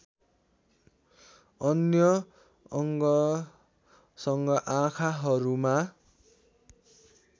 अन्य अङ्गसँग आँखाहरूमा